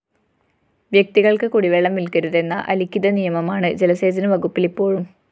വ്യക്തികള്‍ക്ക് കുടിവെള്ളം വില്‍ക്കരുതെന്ന അലിഖിത നിയമമാണ് ജലസേചന വകുപ്പില്‍ ഇപ്പോഴും